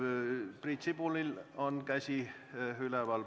Priit Sibulal on käsi üleval.